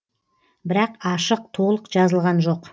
бірақ ашық толық жазылған жоқ